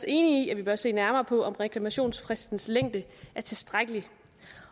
enig i at vi bør se nærmere på om reklamationsfristens længde er tilstrækkelig